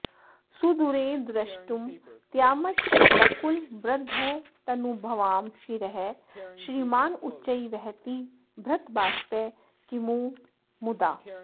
सुदूरे द्रष्टुं त्यामचलकुलवृद्धस्तनुभवां शिरः श्रीमानुच्चैर्वहति भृतबाष्पः किमु मुदा